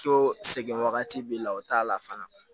Ko sɛgɛn wagati b'i la o t'a la fana